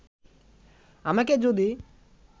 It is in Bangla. আমাকে যদি